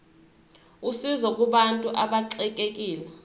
usizo kubantu abaxekekile